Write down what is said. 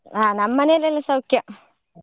ಆ ನಮ್ಮ ಮನೆಯಲ್ಲಿ ಎಲ್ಲಾ ಸೌಖ್ಯ .